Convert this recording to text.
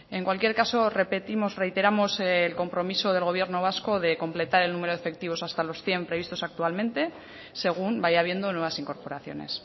en cualquier caso repetimos reiteramos el compromiso del gobierno vasco de completar el número de efectivos hasta los cien previstos actualmente según vaya habiendo nuevas incorporaciones